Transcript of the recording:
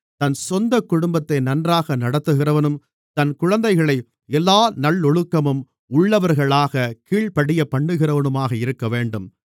தன் சொந்தக் குடும்பத்தை நன்றாக நடத்துகிறவனும் தன் குழந்தைகளை எல்லா நல்லொழுக்கமும் உள்ளவர்களாகக் கீழ்ப்படியப்பண்ணுகிறவனுமாக இருக்கவேண்டும்